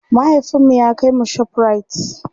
mahaifinmu ya kaimu shoprite